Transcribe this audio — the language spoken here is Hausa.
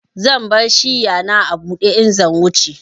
Zan bar shiya na a bude in zan wuce.